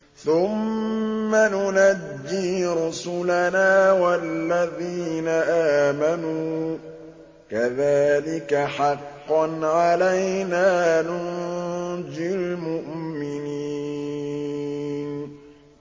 ثُمَّ نُنَجِّي رُسُلَنَا وَالَّذِينَ آمَنُوا ۚ كَذَٰلِكَ حَقًّا عَلَيْنَا نُنجِ الْمُؤْمِنِينَ